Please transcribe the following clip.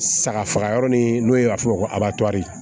Saga faga yɔrɔ ni n'o ye f'o ma ko abari